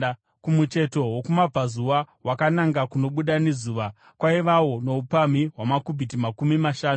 Kumucheto wokumabvazuva, wakananga kunobuda nezuva, kwaivawo noupamhi hwamakubhiti makumi mashanu.